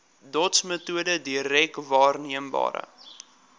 dotsmetode direk waarneembare